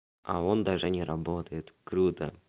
а он даже не работает круто